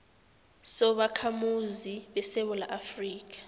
sobakhamuzi besewula afrika